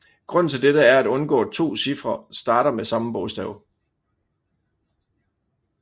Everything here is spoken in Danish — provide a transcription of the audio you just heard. Grunden til dette er at undgå to cifre starter med det samme bogstav